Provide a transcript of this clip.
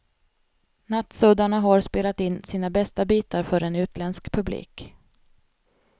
Nattsuddarna har spelat in sina bästa bitar för en utländsk publik.